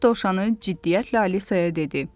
Mart dovşanı ciddiyyətlə Alisaya dedi.